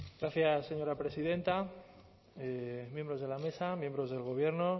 gracias señora presidenta miembros de la mesa miembros del gobierno